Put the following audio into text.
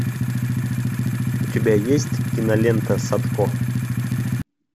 у тебя есть кинолента садко